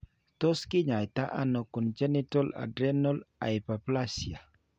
Tos' kiny'aito nano congenital adrenal hyperplasia?